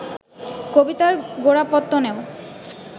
কবিতার গোড়াপত্তনেও